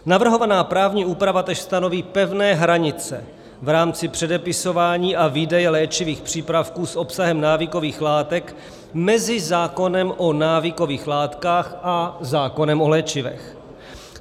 Navrhovaná právní úprava též stanoví pevné hranice v rámci předepisování a výdeje léčivých přípravků s obsahem návykových látek mezi zákonem o návykových látkách a zákonem o léčivech.